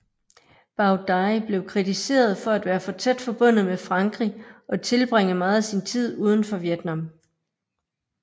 Bảo Đại blev kritiseret for at være for tæt forbundet med Frankrig og tilbringe meget af sin tid udenfor Vietnam